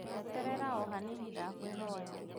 Eterera ohanini ndakwĩhoya